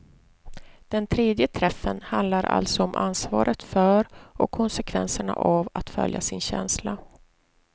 Den tredje träffen handlar alltså om ansvaret för och konsekvenserna av att följa sin känsla.